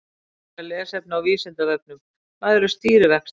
Frekara lesefni á Vísindavefnum: Hvað eru stýrivextir?